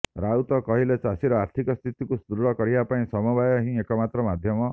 ରାଉତ କହିଲେ ଚାଷୀର ଆର୍ଥିକ ସ୍ଥିତିକୁ ସୁଦୃଢ଼ କରିବା ପାଇଁ ସମବାୟ ହିଁ ଏକମାତ୍ର ମାଧ୍ୟମ